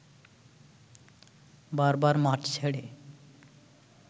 বারবার মাঠ ছেড়ে